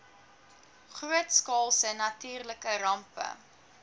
grootskaalse natuurlike rampe